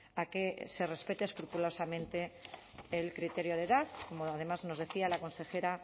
a que se respete escrupulosamente el criterio de edad como además nos decía la consejera